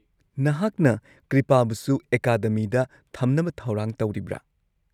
ꯅꯍꯥꯛꯅ ꯀ꯭ꯔꯤꯄꯥꯕꯨꯁꯨ ꯑꯦꯀꯥꯗꯃꯤꯗ ꯊꯝꯅꯕ ꯊꯧꯔꯥꯡ ꯇꯧꯔꯤꯕ꯭ꯔꯥ?